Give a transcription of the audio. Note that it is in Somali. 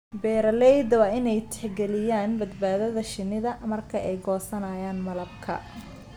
Beeralayda waa in ay tixgeliyaan badbaadada shinnida marka ay goosanayaan malabka.